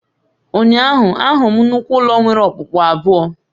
Ụnyaahụ, ahụrụ m nnukwu ụlọ nwere okpukpu abụọ